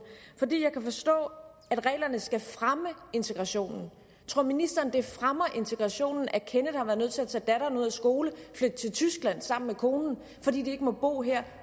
jeg kan forstå at reglerne skal fremme integrationen tror ministeren det fremmer integrationen at kenneth har været nødt til at tage datteren ud af skolen og flytte til tyskland sammen med konen fordi de ikke må bo her